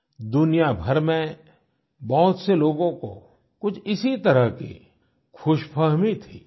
दुनिया भर में बहुत से लोगों को कुछ इसी तरह की खुशफ़हमी थी